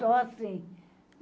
Só assim.